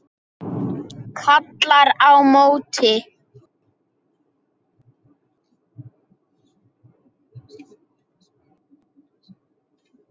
Kallar á móti.